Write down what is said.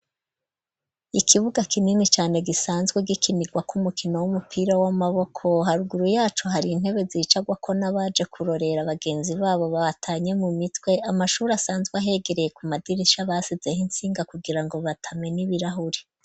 Ikibuga kinini cane gisanzwe gikimirwa k'umukino w'umupira w'amaboko, haruguru yaco hari intebe zicagwako n'abaje kurorera abagenzi babo bahatanye mu mitwe, amashure asanzwe ahegereye ku madirisha basizeho insinga kugira ngo batamen'ibirahuri.